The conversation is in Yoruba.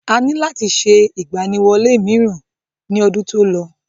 A ní láti ṣe ìgbaniwọlé mìíràn ní ọdún tí ó lọ.